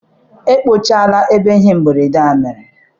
Akpọchiela ebe ihe mberede a mere.